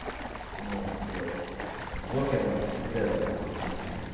ну блять джокера вряд ли будет плохим фильмом